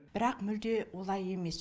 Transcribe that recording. бірақ мүлде олай емес